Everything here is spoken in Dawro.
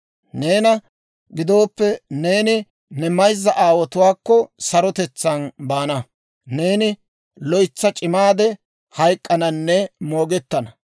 Neena gidooppe, neeni ne mayza aawotuwaakko sarotetsaan baana; neeni loytsa c'imaade hayk'k'ananne moogettana.